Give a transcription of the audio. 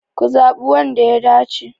Ku zaɓi wanda ya dace!